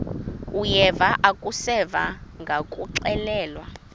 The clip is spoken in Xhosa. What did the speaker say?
uyeva akuseva ngakuxelelwa